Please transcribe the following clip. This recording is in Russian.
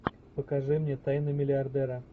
покажи мне тайны миллиардера